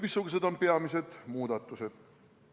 Missugused on peamised muudatused?